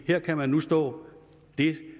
her kan man nu stå